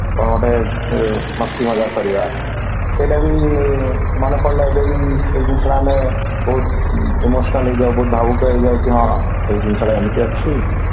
କଣ ଗୋଟେ ମସ୍ତି ମଜାକ କରିବା ସେଇଟା ବି ମନେ ପଡିଲେ ଏବେ ବି ସେ ଜିନିଷଟା ଆମେ ବହୁତ emotional ହେଇଯାଉ ବହୁତ ଭାବୁକ ହେଇଯାଉ କି ହଁ ଏଇ ଜିନିଷଟା ଏମିତି ଅଛି